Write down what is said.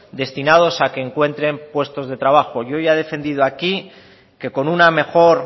destinados a que encuentren puestos de trabajo yo ya he defendido aquí que con una mejor